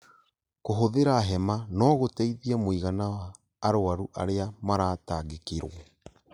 Kũhũthĩra hema no gũteithie mũigana wa arũaru arĩa maratangĩkĩrwo